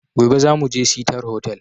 Gobe zamuje sitar hotal